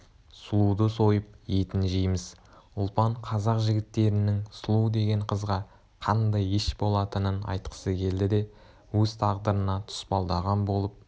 сұлуды сойып етін жейміз ұлпан қазақ жігіттерінің сұлу деген қызға қандай еш болатынын айтқысы келді де өз тағдырына тұспалдаған болып